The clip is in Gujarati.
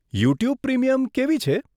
યુટ્યુબ પ્રીમિયમ કેવી છે?